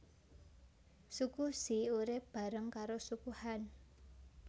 Suku She urip bareng karo Suku Han